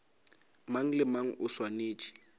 mang le mang o swanetše